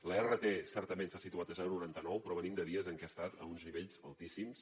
la rt certament s’ha situat a zero coma noranta nou però venim de dies en què ha estat a uns nivells altíssims